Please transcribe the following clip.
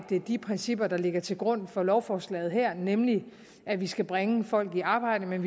de principper der ligger til grund for lovforslaget her nemlig at vi skal bringe folk i arbejde men